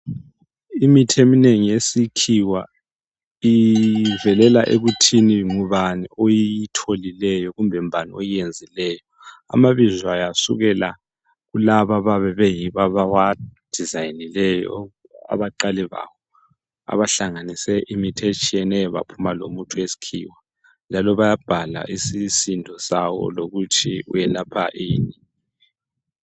Imithi eminengi yesikhiwa ivelela ekuthini ngubani oyitholileyo kumbe mbani oyenzileyo , amabizo ayo asukela kulaba abayabe beyibo abawa dizayinileyo abaqale bawahlanganise imithi etshiyeneyo baphuma lomuthi weskhiwa njalo bayabhala isisindo sawo lokuthi welapha ini